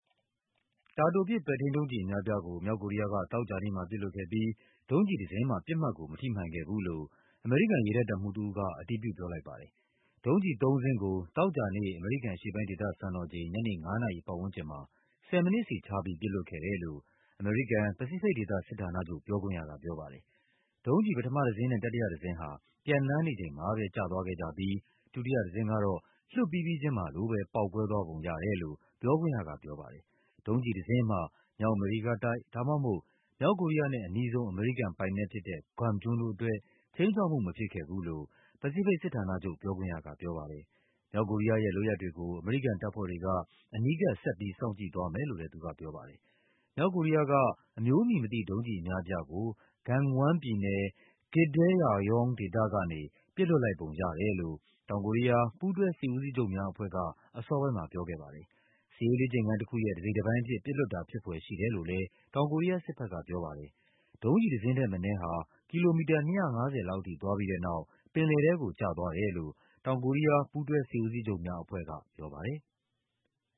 တာတိုပစ် ပဲ့ထိန်းဒုံးကျည်အများအပြားကို မြောက်ကိုရီးယားက သောကြာနေ့မှာ ပစ်လွှတ်ခဲ့ပြီး ဒုံးကျည်တစင်းမှ ပစ်မှတ်ကို မထိ မှန်ခဲ့ဘူးလို့ အမေရိကန် ရေတပ် တပ်မှူးတဦးက အတည်ပြု ပြောလိုက်ပါတယ်။ ဒုံးကျည်သုံးစင်းကို သောကြာနေ့ အမေရိကန်အရှေ့ပိုင်းဒေသစံတော်ချိန် ညနေ ၅ နာရီပတ်ဝန်းကျင်မှာ ၁၀ မိနစ်စီခြားပြီး ပစ်လွှတ်ခဲ့တယ်လို့ အမေရိကန် ပစိဖိတ်ဒေသစစ်ဌာနချုပ် ပြောခွင့်ရကပြောပါတယ်။ ဒုံးကျည် ပထမတစင်းနဲ့ တတိယတစင်း ဟာ ပျံသန်းနေ ချိန်မှာပဲကျသွားခဲ့ကြပြီး ဒုတိယတစင်းကတော့ လွှတ်ပြီးပြီးချင်းမှာလိုပဲ ပေါက်ကွဲသွားပုံရတယ်လို့ ပြောခွင့်ရက ပြောပါတယ်။ ဒုံးကျည်တစင်းမှ မြောက်အမေရိကတိုက်၊ ဒါမှမဟုတ် မြောက်ကိုရီးယားနဲ့အနီးဆုံး အမေရိကန်ပိုင်နက်ဖြစ်တဲ့ Guam ကျွန်းတို့ အတွက် ခြိမ်းခြောက်မှုမဖြစ်ခဲ့ဘူးလို့ ပစိဖိတ်စစ်ဌာနချုပ် ပြောခွင့်ရကပြောပါတယ်။ မြောက်ကိုရီးယားရဲ့လုပ်ရပ်တွေကို အမေရိကန်တပ်ဖွဲ့တွေက အနီးကပ် ဆက်ပြီး စောင့်ကြည့်သွားမယ်လို့လဲ သူကပြောပါတယ်။ မြောက်ကိုရီးယားက အမျိုးအမည်မသိ ဒုံးကျည်အများအပြားကို Gangwon ပြည်နယ်၊ Gitdaeryong ဒေသကနေ ပစ်လွှတ်လိုက်ပုံရတယ်လို့ တောင်ကိုရီးယား ပူးတွဲစစ်ဦးစီးချုပ်များအဖွဲ့က အစောပိုင်းမှာ ပြောပါတယ်။ စစ်ရေးလေ့ကျင့်ခန်းတခု ရဲ့ တစိတ်တပိုင်းအဖြစ် ပစ်လွှတ်တာဖြစ်ဖွယ်ရှိတယ်လို့လဲ တောင်ကိုရီးယားစစ်ဘက်ကပြောပါတယ်။ ဒုံးကျည်တစင်းထက်မနည်းဟာ ကီလိုမီတာ ၂၅၀ လောက်ထိ သွားပြီးတဲ့နောက် ပင်လယ်ထဲကိုကျသွားတယ်လို့ တောင်ကိုရီးယား ပူးတွဲစစ်ဦးစီးချုပ်များ အဖွဲ့ကပြောပါတယ်။